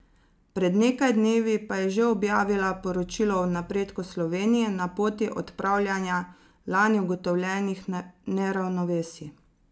Pred nekaj dnevi pa je že objavila poročilo o napredku Slovenije na poti odpravljanja lani ugotovljenih neravnovesij.